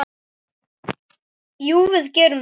Jú, við gerum það.